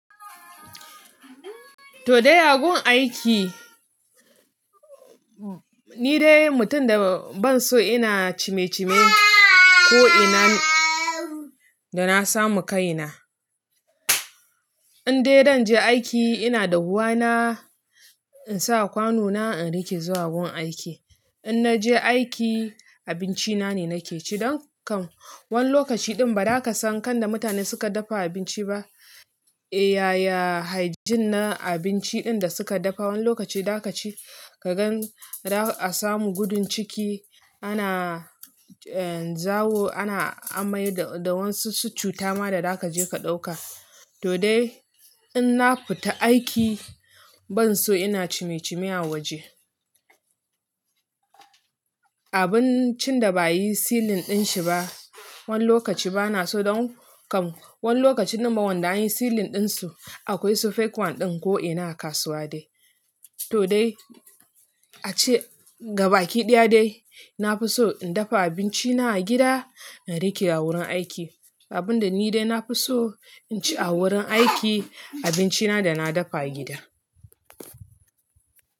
To dai a gun aiki ni dai mutum da ban so ina cime cime ko'ina da na samu kaina. In dai zan je aiki ina da ruwa na in sa kwano na in rike zuwa gun aiki. In naje aiki abinci na ne nake ci don kam. Wani lokaci ɗin ba za ka san kan da mutane suka dafa abinci ba. Eh yaya hygiene na abinci din da suka dafa. Wani lokaci da ka ci ka gan a samu gudun ciki ana zawo ana amai da wasu cutama da za kaje ka ɗauka. To dai in na fita aiki ban so ina cime cime a waje. Abincin da ba'ayi sealing din shi ba. Wani lokaci bana so don kam wani lokaci din ma wanda an yi sealing din su akwai su fake wan din ko'ina a kasuwa dai. To dai ace gabakiɗaya dai na fi so in dafa abinci na a gida in riƙe a wurin aiki. Abun da ni dai na fi so inci a wurin aiki abinci na da na dafa a gida.